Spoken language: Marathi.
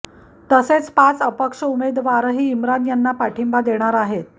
तसेच पाच अपक्ष उमेदवारही इमरान यांना पाठिंबा देणार आहेत